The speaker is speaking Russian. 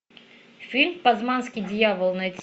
фильм пазманский дьявол найти